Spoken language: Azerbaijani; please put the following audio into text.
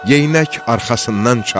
Geyinək arxasından çatdı.